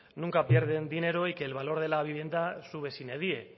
nunca pierden dinero y que el valor de la vivienda sube sine die